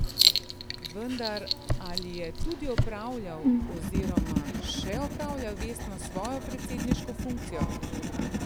Vendar, ali je tudi opravljal oziroma še opravlja vestno svojo predsedniško funkcijo?